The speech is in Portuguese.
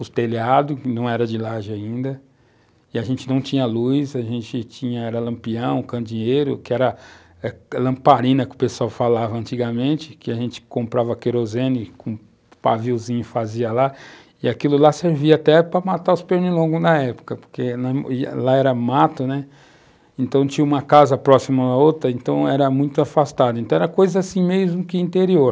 os telhados, que não eram de laje ainda, e a gente não tinha luz, a gente tinha era lampião, candinheiro, que era a lamparina que o pessoal falava antigamente, que a gente comprava querosene, com um paviozinho fazia lá, e aquilo lá servia até para matar os pernilongos na época, porque nós ía, lá era mato, né, então tinha uma casa próxima a outra, então era muito afastado, então era coisa assim mesmo que interior.